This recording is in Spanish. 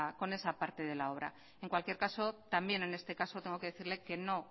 con esa parte de la obra en cualquier caso también en este caso tengo que decirle que no